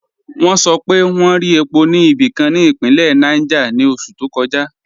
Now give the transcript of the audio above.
Wọn sọ̀ pé wọn rí è̩pó ni ibikan ni ipinlẹ̀ Niger ni oṣù to kọja.